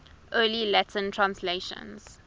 early latin translations